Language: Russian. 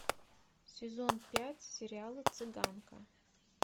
сезон пять сериала цыганка